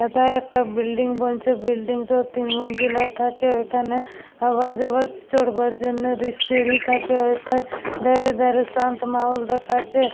এথায় একটা বিল্ডিং বানচ্ছেবিল্ডিং টা তিন মঞ্জিলার থাকে । ঐখানে আওয়ার যাওয়ার স চড়বার জন্য সিঁড়ি থাকে । এথায় ধারে ধারে শান্ত মহল দেখাচ্ছে ।